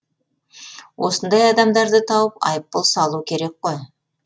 осындай адамдарды тауып айыппұл салу керек қой